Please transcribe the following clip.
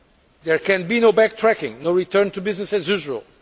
There can be no backtracking and no return to business as usual.